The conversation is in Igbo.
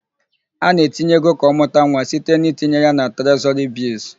A na-etinye ego ka ọmụta nwa site n'itinye ya na trezọrị bịlls.